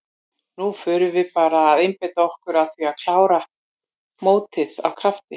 Núna förum við bara að einbeita okkur að því að klára mótið af krafti.